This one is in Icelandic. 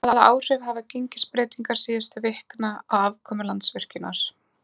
En hvaða áhrif hafa gengisbreytingar síðustu vikna á afkomu Landsvirkjunar?